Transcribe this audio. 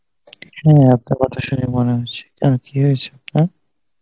হ্যাঁ আপনার কথা শুনেই মনে হচ্ছে. কেন কী হয়েছে আপনার?